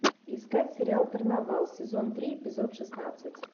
искать сериал карнавал сезон три эпизод шестнадцать